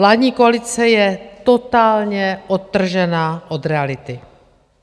Vládní koalice je totálně odtržená od reality.